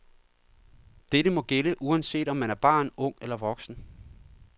Dette må gælde, uanset om man er barn, ung eller voksen.